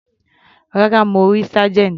Rárá, mo rí Sergeant.